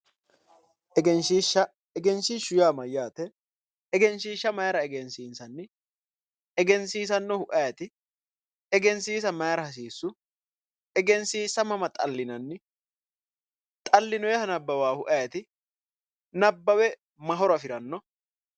Egenshishsha, egenshishshu yaa mayate ,egenshishsha mayira egensiisanni ,egensiisanohu ayeeti, egensiisa mayira hasiisu ,egenshishsha mama xallinanni ,xa'linonniha nabbawahu ayeeti, nabbawe mayi horo afiranno ?